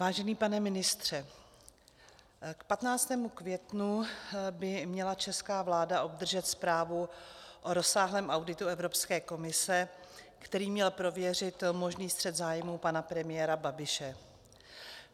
Vážený pane ministře, k 15. květnu by měla česká vláda obdržet zprávu o rozsáhlém auditu Evropské komise, který měl prověřit možný střet zájmů pana premiéra Babiše.